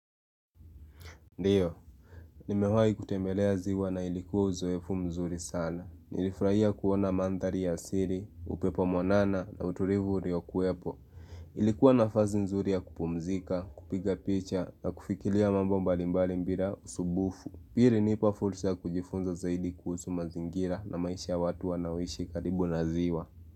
Ndiyo, nimewahi kutembelea ziwa na ilikuwa uzoefu mzuri sana Nilifuraia kuona mandhari ya asili, upepo mwanana na utulivu uliokuwepo Ilikuwa nafasi nzuri ya kupumzika, kupiga picha na kufikiria mambo mbalimbali bila usubufu hii ilinipa fursa ya kujifunza zaidi kuhusu mazingira na maisha ya watu wanaoishi karibu na ziwa.